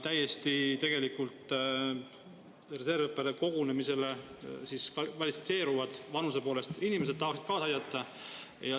Need on tegelikult täiesti reservõppekogunemisele kvalifitseeruvad inimesed, vanuse poolest, kes tahaksid kaasa aidata.